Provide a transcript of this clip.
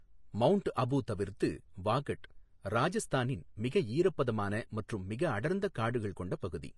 Mount Abu தவிர்த்து, வாகட் ராஜஸ்தானின் மிக ஈரப்பதமான மற்றும் மிக அடர்ந்த காடுகள் கொண்டப் பகுதி.